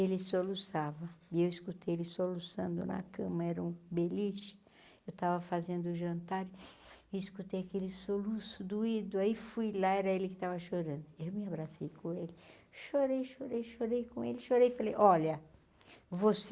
Ele soluçava, e eu escutei ele soluçando na cama, era um beliche, eu estava fazendo o jantar, e escutei aquele soluço doído, aí fui, lá era ele que estava chorando, eu me abracei com ele, chorei, chorei, chorei com ele, chorei, falei, olha, você,